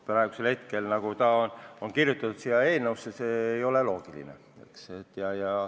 Praegu see, mis on kirjutatud siia eelnõusse, ei ole loogiline.